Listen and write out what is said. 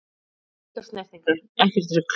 Engar snertingar, ekkert rugl!